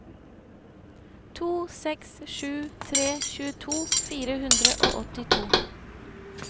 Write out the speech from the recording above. to seks sju tre tjueto fire hundre og åttito